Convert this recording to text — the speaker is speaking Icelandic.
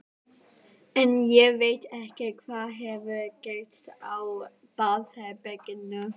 En ég veit ekki hvað hefur gerst á baðherberginu.